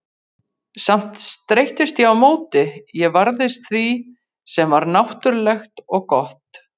Samt streittist ég á móti, ég varðist því sem var náttúrlegt og gott.